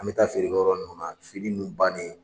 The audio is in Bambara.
An bɛ taa feerekɛ yɔrɔ ninnu na fini nun bannen